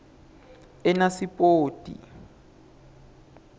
enasipoti